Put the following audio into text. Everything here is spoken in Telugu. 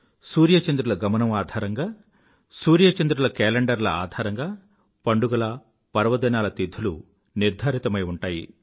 సూర్య చంద్రుల గమనముతో ఆధారంగా సూర్య చంద్రుల కేలెండర్ ల ఆధారంగా పండుగల పర్వదినాల తిధులు నిర్ధారితమై ఉంటాయి